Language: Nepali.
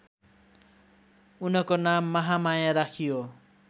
उनको नाम महामाया राखियो